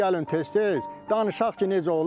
Gəlin tez-tez danışaq ki, necə olub.